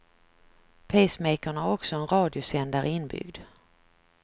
Pacemakern har också en radiosändare inbyggd.